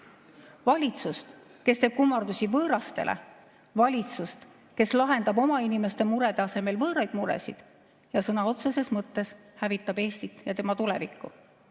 Valitsust, kes teeb kummardusi võõrastele, valitsust, kes lahendab oma inimeste murede asemel võõraid muresid ja sõna otseses mõttes hävitab Eestit ja tema tulevikku.